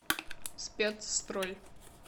спецстрой